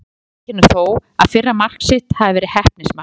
Adam viðurkennir þó að fyrra mark sitt hafi verið heppnismark.